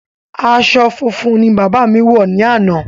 Aṣọ funfun ni bàbá mi wọ ni ana